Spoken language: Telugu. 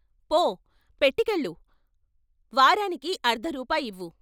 ఫో పెట్టికెళ్ళు వారానికి అర్ధ రూపాయివ్వు.